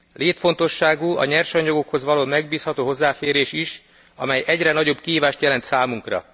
Létfontosságú a nyersanyagokhoz való megbízható hozzáférés is, amely egyre nagyobb kihívást jelent számunkra.